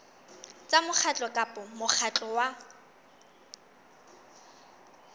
tsa mokgatlo kapa mokgatlo wa